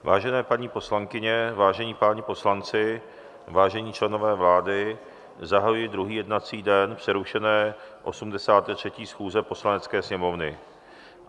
Vážené paní poslankyně, vážení páni poslanci, vážení členové vlády, zahajuji druhý jednací den přerušené 83. schůze Poslanecké sněmovny.